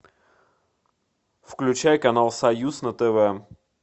включай канал союз на тв